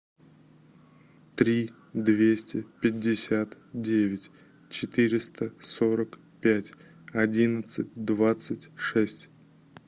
три двести пятьдесят девять четыреста сорок пять одиннадцать двадцать шесть